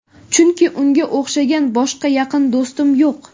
Chunki unga o‘xshagan boshqa yaqin do‘stim yo‘q.